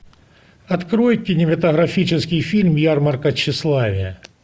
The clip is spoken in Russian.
открой кинематографический фильм ярмарка тщеславия